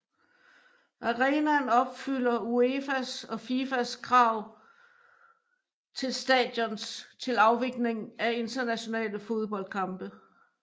Arenaen opfylder UEFAs og FIFAs krav til stadions til afvikling af internationale fodboldkampe